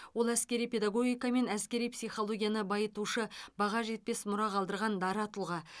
ол әскери педагогика мен әскери психологияны байытушы баға жетпес мұра қалдырған дара тұлға